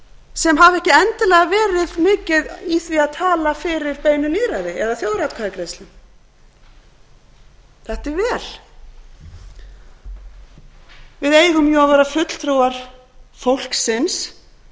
sem hafa ekki endilega verið neitt mikið í því að tala fyrir beinu lýðræði eða þjóðaratkvæðagreiðslum þetta er vel við eigum jú að vera fulltrúar fólksins